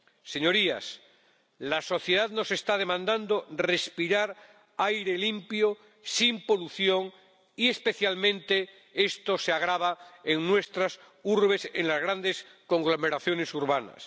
Señorías, la sociedad nos está demandando respirar aire limpio sin polución, y especialmente esto se agrava en nuestras urbes, en las grandes conglomeraciones urbanas.